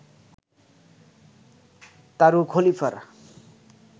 তারু খলিফার